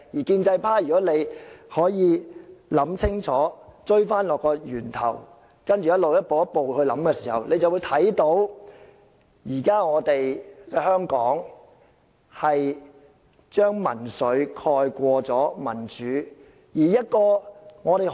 建制派同事如果能夠想清楚，追溯到源頭，再一步一步思考，他們便會看到，現時在香港是民粹蓋過民主。